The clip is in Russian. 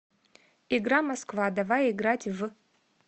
игра москва давай играть в